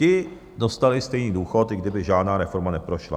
Ti dostali stejný důchod, i kdyby žádná reforma neprošla.